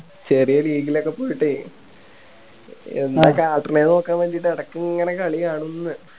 ചെറിയ league ലൊക്കെ പോയിട്ടേ എന്താ കാട്ടണേന്ന് നോക്കാൻ വേണ്ടീട്ട് എടയ്ക്ക് ഇങ്ങനെ കളി കാണുംന്ന്